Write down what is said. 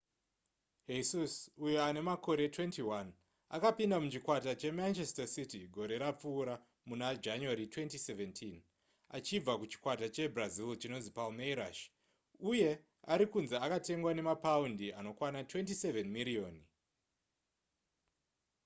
jesus uyo ane makore 21 akapinda muchikwata chemanchester city gore rapfuura muna january 2017 achibva kuchikwata chekubrazil chinonzi palmeiras uye ari kunzi akatengwa nemapaundi anokwana 27 miriyoni